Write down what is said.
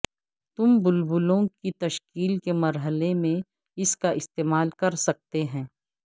تم بلبلوں کی تشکیل کے مرحلے میں اس کا استعمال کر سکتے ہیں